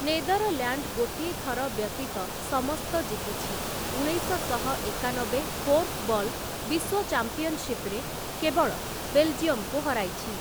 Netherland ଗୋଟିଏ ଥର ବ୍ୟତୀତ ସମସ୍ତ ଜିତିଛି, ଉଣେଇଶଶହ ଏକାନବେ କୋର୍ଫବଲ୍ ବିଶ୍ୱ ଚାମ୍ପିଅନଶିପ୍‌ ରେ କେବଳ ବେଲଜିୟମକୁ ହରାଇଛି ।